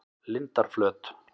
Lindarflöt